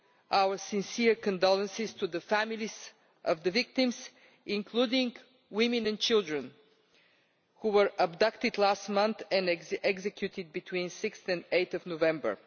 our sincere condolences to the families of the victims, including women and children who were abducted last month and executed between 6 and 8 November.